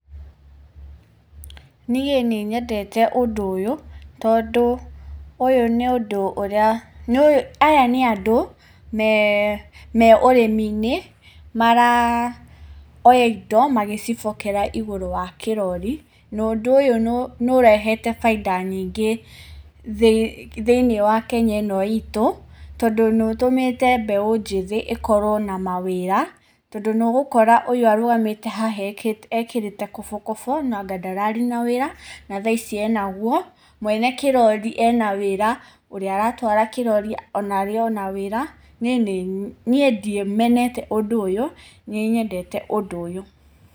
Niĩ nĩ nyendete ũndũ ũyũ tondũ ũyũ nĩ ũndũ ũrĩa, aya nĩ andũ me ũrĩmi-inĩ maroya ĩndo magĩcibokera igũrũ wa kĩrori na ũndũ ũyũ nĩ ũrehete baida nyingĩ thĩiniĩ wa Kenya ĩno ĩtũ tondũ nĩ ũtũmĩte mbeũ njithĩ ĩkorwo na mawĩra tondũ nĩ ũgũkora ũyũ ũrũgamĩte haha ekĩrĩte kobokobo anga ndararĩ na wĩra na thaici enagũo. Mwene kĩrori ena wĩra ũrĩa aratwara kĩrori ona arĩ na wĩra. Nĩ ndĩmenete ũndũ ũyũ, nĩnyendete ũndũ ũyũ.